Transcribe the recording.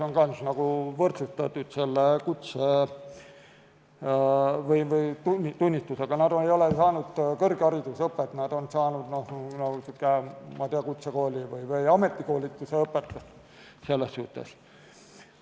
Nad ei ole saanud selles valdkonnas kõrgharidust, nad on saanud, ma ei tea, kutsekoolis või ametikoolis õpetust selles suhtes.